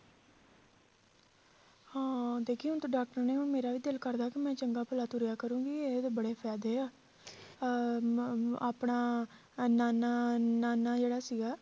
ਹਾਂ ਦੇਖੀਂ ਹੁਣ ਤਾਂ doctor ਨੇ ਹੁਣ ਮੇਰਾ ਵੀ ਦਿਲ ਕਰਦਾ ਕਿ ਮੈਂ ਚੰਗਾ ਭਲਾ ਤੁਰਿਆ ਕਰੂੰਗੀ ਇਹਦੇ ਬੜੇ ਫ਼ਾਇਦੇ ਆ ਅਹ ਮ~ ਆਪਣਾ ਇੰਨਾ ਇੰਨਾ ਇੰਨਾ ਇੰਨਾ ਜਿਹੜਾ ਸੀਗਾ